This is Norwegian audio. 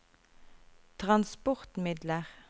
transportmidler